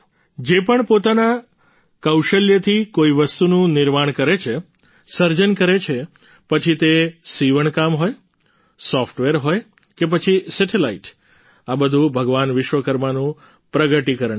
જે પણ પોતાના કૌશલ્યોથી કોઈ વસ્તુનું નિર્માણ કરે છે સર્જન કરે છે પછી તે સિવણ કામ હોય સોફ્ટવેર હોય કે પછી સેટેલાઈટ આ બધું ભગવાન વિશ્વકર્માનું પ્રગટીકરણ છે